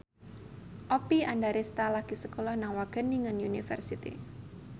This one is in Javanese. Oppie Andaresta lagi sekolah nang Wageningen University